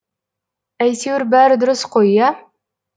әйтеуір бәрі дұрыс қой иә